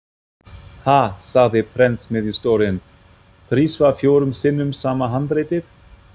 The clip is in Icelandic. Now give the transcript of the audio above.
Ha, sagði prentsmiðjustjórinn: þrisvar fjórum sinnum sama handritið?